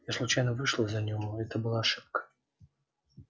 я случайно вышла за него это была ошибка